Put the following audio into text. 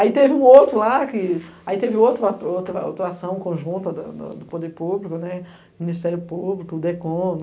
Aí teve um outro lá que... Aí teve outra atuação conjunta do Poder Público, o Ministério Público, o DECOM.